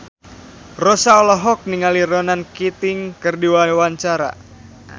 Rossa olohok ningali Ronan Keating keur diwawancara